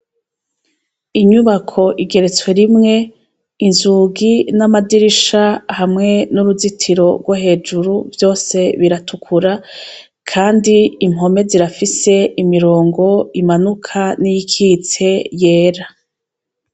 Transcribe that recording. Inyubako igeretswe rimwe, inzugi n'amadirisha, hamwe n'uruzitiro rwo hejuru vyose biratukura, kandi impome zirafise imirongo imanuka n'iyikitse yera.